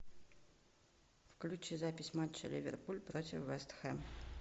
включи запись матча ливерпуль против вест хэм